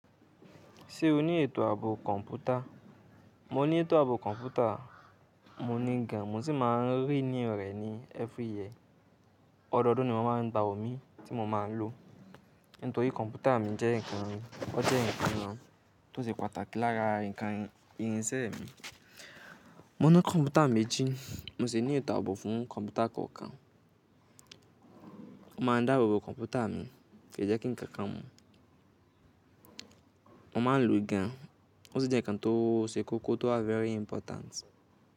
Ṣé o ní ètò ààbò kọ̀ǹpútà? Mo ní ètò ààbò kọ̀ǹpútà, mo ní gán, mo sì máa ń renew rẹ́ ní every year. Ọdọọdún ni mọ́ máa ń gba òmí tí mo máa ń lò. Nítorí kọ̀ǹpútà mi jẹ́ ǹkan, o jẹ́ ǹkan kan tó ṣe pàtàkì, lára ǹkan irinṣẹ́ mi. Mo ní kọ̀ǹpútà méjì, mo sì ní ètò ààbò fún kọ̀ǹpútà kọ̀ọ̀kan. Mo máa ń dáàbòbo kọ̀ǹpútà mi, kí í jẹ́ kí nǹkan kan mú. Mo máa ń lo gán, o ṣì jẹ́ ǹkan tó ṣe kókó tó wà very important.